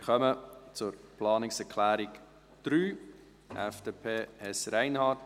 Wir kommen zur Planungserklärung 3, FDP, Hess/Reinhard.